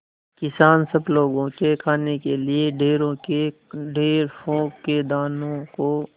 किसान सब लोगों के खाने के लिए ढेरों के ढेर पोंख के दानों को